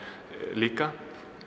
líka